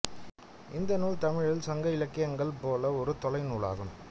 இந்த நூல் தமிழின் சங்க இலக்கியங்கள் போல ஒரு தொகை நூலாகும்